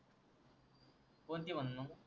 कोणते म्हणण